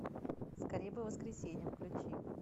скорей бы воскресенье включи